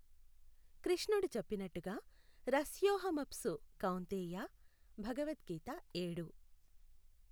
కృష్ణుడు చెప్పినట్టుగా రసోఽహమప్సు కౌంతేయా, భగవత్ గీత ఏడు.